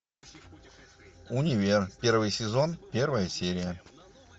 универ первый сезон первая серия